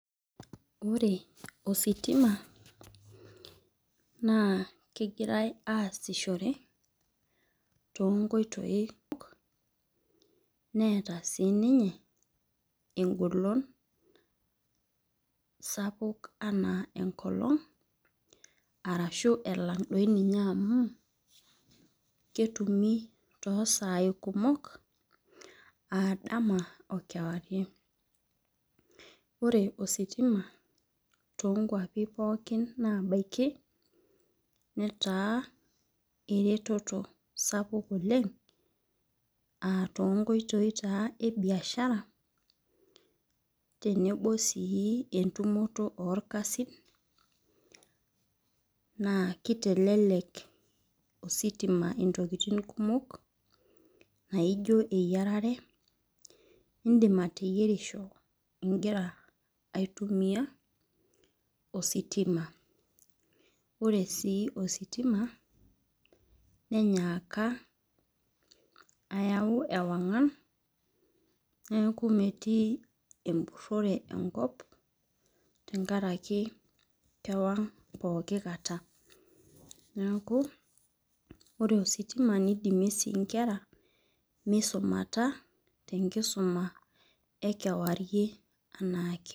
Ore ositima naa kegirae aasishore. too nkoitoi kumok neeta sii ninye egolon, sapuk anaa enkolong' arashu elang doi ninye amu ketumi too sai kumok aa dama okewarie. ore ositima too nkuapi pookin naabaiku netaa eretoto sapuk oleng aatoonkoitoi taa ebiashara tenebo sii entumoto oorakasin naa kitelele ositima ntokitin kumok. naijo eyiaretr. idim ateyierishoro igira aitumia ositima ore sii ositima nenyaaka ayau ewangan neeku metii empurore enkop te nkaraki kewang' pooki kata. ore ositima nidimie sii nkera misumata tenkisuma ekewarie looking kata.